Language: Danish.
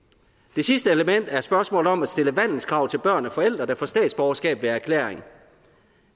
det sidste element er spørgsmålet om at stille vandelskrav til børn af forældre der får statsborgerskab ved erklæring